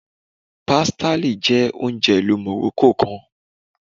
Pastilla jẹ ounjẹ ilu Morocco kan